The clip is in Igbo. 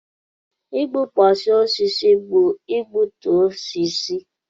Igbukpọsị osisi bụ igbutu osisi.